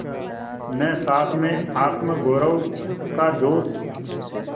न सास में आत्मगौरव का जोश